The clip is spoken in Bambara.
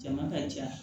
Jama ka ca